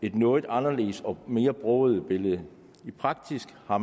et noget anderledes og mere broget billede i praksis har